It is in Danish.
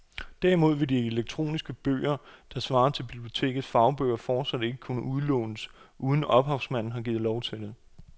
Derimod vil de elektroniske bøger, der svarer til bibliotekernes fagbøger, fortsat ikke kunne udlånes, uden at ophavsmanden har givet lov til det.